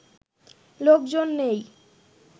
লোকজন নেই